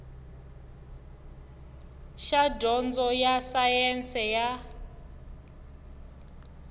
xa dyondzo ya sayense ya